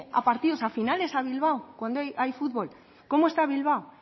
a partidos a finales a bilbao cuando hay fútbol cómo está bilbao